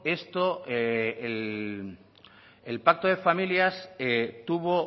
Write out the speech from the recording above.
esto el pacto de familias tuvo